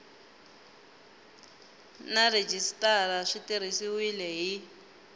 na rhejisitara swi tirhisiwile hi